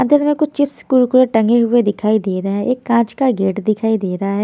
अंदर में कुछ चिप्स कुरकुरे टंगे हुए दिखाई दे रहा है एक कांच का गेट दिखाई दे रहा है।